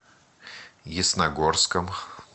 ясногорском